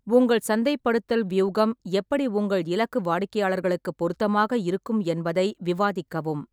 உங்கள் சந்தைப்படுத்தல் வியூகம் எப்படி உங்கள் இலக்கு வாடிக்கையாளர்களுக்குப் பொருத்தமாக இருக்கும் என்பதை விவாதிக்கவும்.